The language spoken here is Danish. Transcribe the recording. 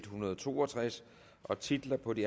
hundrede og to og tres titlerne på de